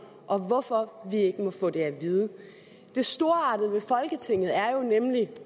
og hvorfor vi ikke må få det at vide det storartede ved folketinget er jo nemlig